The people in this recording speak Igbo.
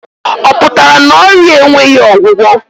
Ọ pụtara na ọrịa a enweghị ọgwụgwọ?